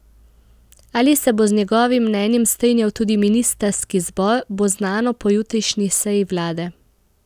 Ali se bo z njegovim mnenjem strinjal tudi ministrski zbor, bo znano po jutrišnji seji vlade.